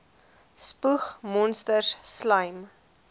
spoeg monsters slym